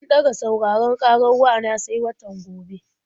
An ɗaga sauraron ƙarar wa na sai watan gobe.